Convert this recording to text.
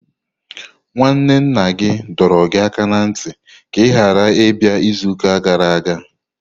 Nwanne nna gị dọrọ gị aka ná ntị ka ị ghara ịbịa izuụka gara aga!